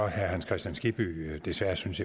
herre hans kristian skibby desværre synes